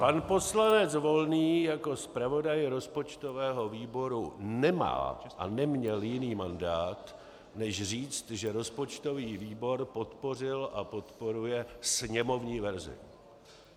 Pan poslanec Volný jako zpravodaj rozpočtového výboru nemá a neměl jiný mandát než říct, že rozpočtový výbor podpořil a podporuje sněmovní verzi.